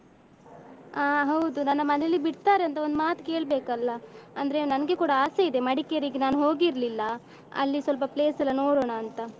ಅಹ್ ಹೌದು ನನ್ನ ಮನೇಲಿ ಬಿಡ್ತಾರೇಂತ ಒಂದು ಮಾತು ಕೇಳ್ಬೇಕಲ್ಲ ಅಂದ್ರೆ ನನ್ಗೆ ಕೂಡ ಆಸೆ ಇದೆ ಮಡಿಕೇರಿಗೆ ನಾನು ಹೋಗಿರ್ಲಿಲ್ಲ ಅಲ್ಲಿ ಸ್ವಲ್ಪ place ಎಲ್ಲ ನೋಡೋಣ ಅಂತ.